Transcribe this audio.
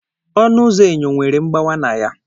Ọnụ ụzọ enyo nwere mgbawa na ya.